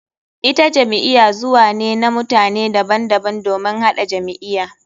Ita jam'iya zuwa ne na mutane daban daban domin haɗa jam'iya.